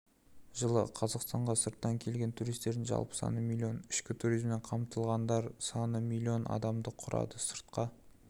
жылы қазақстанға сырттан келген туристердің жалпы саны миллион ішкі туризммен қамтылғандар саны миллион адамды құрады сыртқа